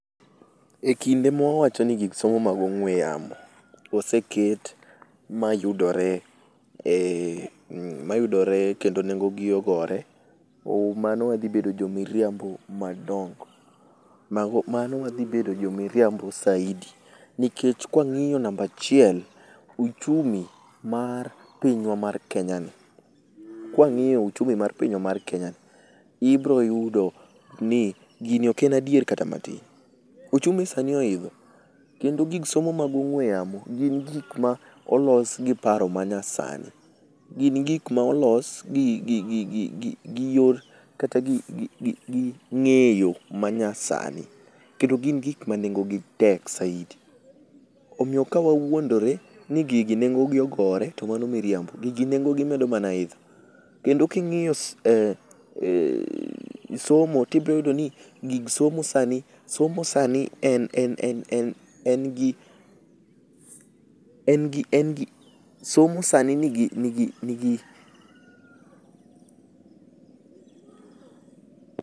Ekinde ma wawacho ni gig somo mag ong'ue yamo oseket mayudore em mm mayudore, kendo nengo gi ogore, ooh mano wadhi bedo jomiriambo madongo. Mago mano wadhi bedo jo miriambo saidi. Nikech ka wang'iyo namba achiel , uchumi mar pinywa mar Kenya ni, ibiro yudo ni gini ok en adier kata matin. Ochumi sani oidho, kendo gik somo mag ong'ue yamo gin gik molos gi paro ma nyasani. Gin gik ma olos gi gi gigi kata gi yor gigi ging'eyo ma nyasani kendo gin gik manengogi tek saidi. Omiyo ka wawuondore ni gigi nengogi ogore to mano mitriambo, gigi nengogi medo mana idho. Kendo king'iyo e e somo to ibiro yudo ni gig somo, somo sani en en en, en gi, en gi somo sani en gi nigi nigi